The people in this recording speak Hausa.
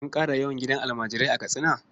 An ƙara yawan gidajen almajirai a Katsina?